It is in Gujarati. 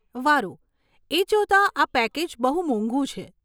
વારુ, એ જોતાં, આ પેકેજ બહુ મોંઘુ છે.